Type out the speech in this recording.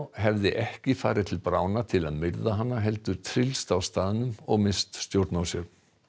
hefði ekki farið til til að myrða hana heldur tryllst á staðnum og misst stjórn á sér